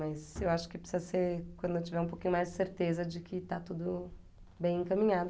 Mas eu acho que precisa ser quando eu tiver um pouquinho mais de certeza de que está tudo bem encaminhado.